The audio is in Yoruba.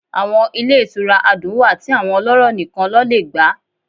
Awọn ile itúra adún wá ti awọn ọlọrọ níkán lọ le gbá